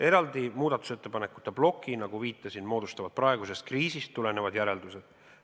Eraldi muudatusettepanekute ploki, nagu viitasin, moodustavad praegusest kriisist tulenevad järeldused.